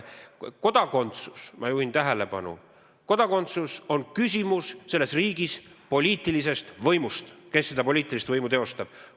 Kodakondsus – ma juhin tähelepanu – on riigis kehtiva poliitilise võimu küsimus: kes seda poliitilist võimu teostab?